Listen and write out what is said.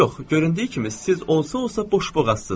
Yox, göründüyü kimi siz onsuz da boşboğazsız.